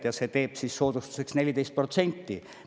Ja see teeb soodustuseks 14%.